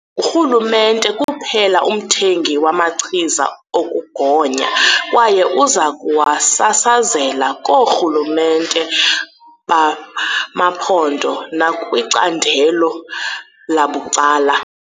Ngurhulumente kuphela umthengi wamachiza okugonya kwaye uza kuwasasazela koorhulumente bamaphondo nakwicandelo labucala.